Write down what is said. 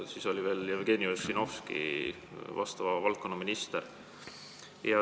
Siis oli veel Jevgeni Ossinovski selle valdkonna minister.